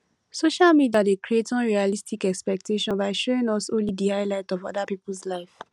social media dey create unrealistic expectations by showing us only di highlight of oda peoples lives